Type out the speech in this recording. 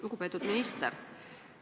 Lugupeetud minister!